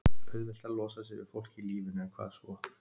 Það er auðvelt að losa sig við fólk í lífinu en hvað svo?